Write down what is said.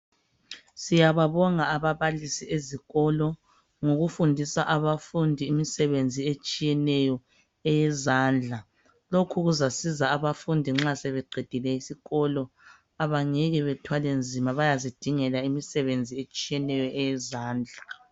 Siyababonga ababalisi ezikolo ngokufundisa abafundi imisebenzi etshiyeneyo eyezandla. Lokhu kuzasiza abafundi nxa sebeqedile isikolo, abangeke bethwele nzima bayazidingela imisebenzi etshiyeneyo eyezandla.